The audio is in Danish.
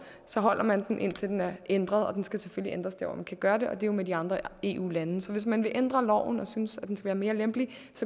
holder man den indtil den er ændret og den skal selvfølgelig ændres der hvor man kan gøre det og det er jo med de andre eu land så hvis man vil ændre loven og synes at den skal være mere lempelig